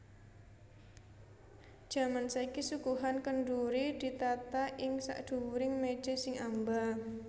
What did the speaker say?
Jaman saiki suguhan kendhuri ditata ing sakdhuwuring méja sing amba